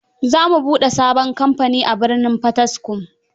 Za mu bude sabon kamfani a birnin Potiskum.